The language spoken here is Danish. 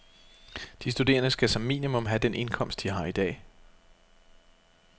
De studerende skal som minimum have den indkomst, de har i dag.